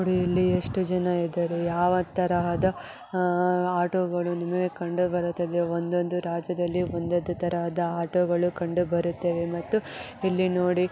ಇಲ್ಲಿ ಎಷ್ಟು ಜನ ಇದ್ದಾರೆ ಯಾವ ತರಹದ ಆಟೋಗಳು ನಿಮಗೆ ಕಂಡು ಬರುತ್ತದೆ ಒಂದೊಂದು ರಾಜ್ಯದಲ್ಲಿ ಒಂದೊಂದು ತರಹದ ಆಟೋಗಳು ಕಂಡು ಬರುತ್ತದೆ ಮತ್ತು ಇಲ್ಲಿ ನೋಡಿ--